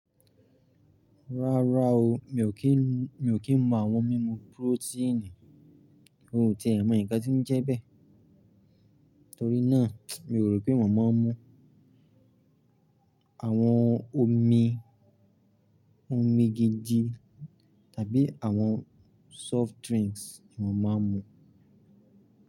Rárá o, mi ò kí ń, mi ò kí ń mú àwọn mímu purotíìnì. N ó tiẹ́ mọ̀ ńǹkan tí ń jẹ́ bẹ́ẹ̀, torí náà mi ò rò pé màá mú àwọn omi, omi gidi tàbí àwọn soft drinks ni mo màá n mú.